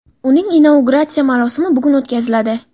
uning inauguratsiya marosimi bugun o‘tkaziladi.